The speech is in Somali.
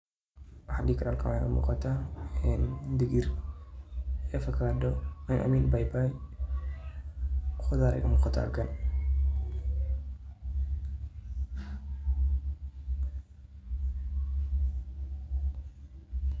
Waxa dehi karah halkan waxa iga muqdah degir ee afakado aymeen baybay hoori iga muqatah .